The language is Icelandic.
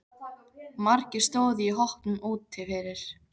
Margir stóðu í hópum úti fyrir.